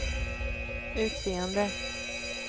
utseende